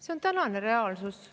See on tänane reaalsus.